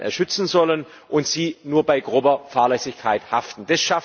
schützen sollen und sie nur bei grober Fahrlässigkeit haften.